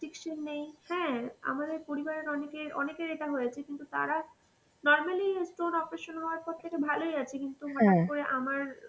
restriction নেই হ্যাঁ, আমাদের পরিবারের অনেকে অনেকের এটা হয়েছে কিন্তু তারা normally stone operation হওয়ার পর থেকে ভালই আছে কিন্তু হঠাৎ করে আমার